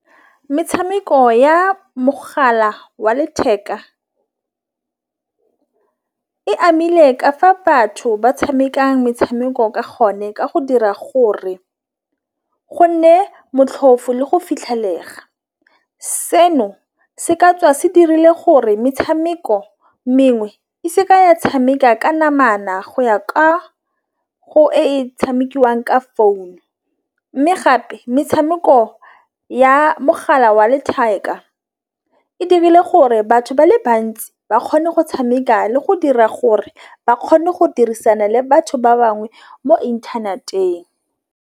Metšhameko ya mogala wa letheka e amile ka fa batho ba tšhamekang metšhameko ka gonne ka go dira gore go nne le go fitlhelega. Seno se ka tswa se dirile gore metšhameko mengwe e se ka ya tšhameka ka namana go ya ka go e tšhamekiwang ka founu, mme gape metšhameko ya mogala wa letheka e dirile gore batho ba le bantsi ba kgone go tšhameka le go dira gore ba kgone go dirisana le batho ba bangwe mo internet-eng.